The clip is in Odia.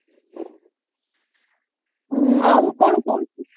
ଆଉ କଣ କହୁଛୁ